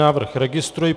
Návrh registruji.